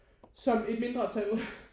Som et mindretal